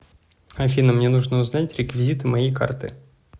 афина мне нужно узнать реквизиты моей карты